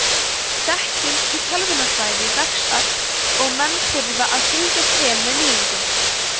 þekking í tölvunarfræði vex ört og menn þurfa að fylgjast vel með nýjungum